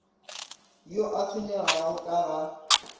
yo a tshwenyegago ka ga